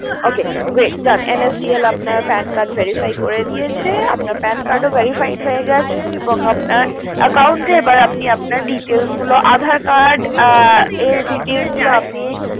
Ok great done NSDL আপনার PAN card verify করে দিয়েছে আপনার PAN card ও verified হয়ে গেছে এবং আপনার Account এবার আপনার details গুলো আধার card এর details গুলো আপনি